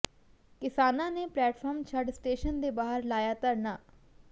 ਕਿਸਾਨਾਂ ਨੇ ਪਲੇਟਫਾਰਮ ਛੱਡ ਸਟੇਸ਼ਨ ਦੇ ਬਾਹਰ ਲਾਇਆ ਧਰਨਾ